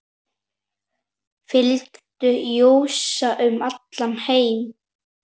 Fylgdu Jesú um allan heim